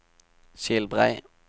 Skilbrei